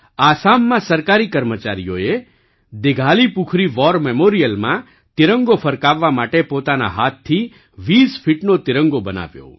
આસામમાં સરકારી કર્મચારીઓએ દિઘાલીપુખુરી વૉર મેમોરિયલમાં તિરંગોફરકાવવા માટે પોતાના હાથથી ૨૦ ફીટનો તિરંગો બનાવ્યો